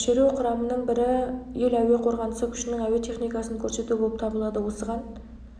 болып жатыр шеру құрамының бірі ел әуе қорғанысы күшінің әуе техникасын көрсету болып табылады осыған